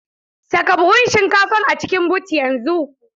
Saka buhun shinkafan a cikin but yanzu!